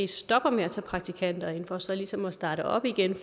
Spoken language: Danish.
stopper med at tage praktikanter ind altså for så ligesom at starte op igen